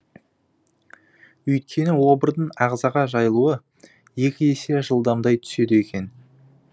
үйткені обырдың ағзаға жайылуы екі есе жылдамдай түседі екен